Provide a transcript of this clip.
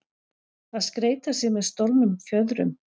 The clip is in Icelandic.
Að skreyta sig með stolnum fjöðrum